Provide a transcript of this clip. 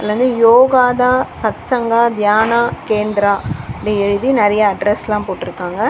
இதுல வந்து யோகடா சத்சங்கா தியான கேந்திரா அப்டி எழுதி நெறைய அட்ரஸ்லா போட்ருக்காங்க.